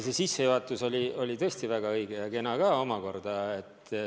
See sissejuhatus oli tõesti väga õige ja kena ka.